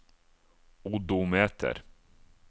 odometer